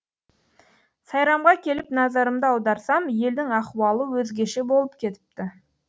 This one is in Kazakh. сайрамға келіп назарымды аударсам елдің ахуалы өзгеше болып кетіпті